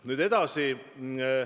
Nüüd edasi.